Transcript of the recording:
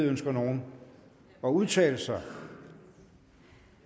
ønsker nogen at udtale sig